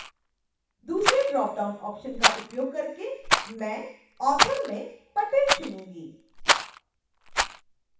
दूसरे dropdown option का उपयोग करके मैं author में patel चुनूँगी